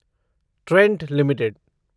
Trent limited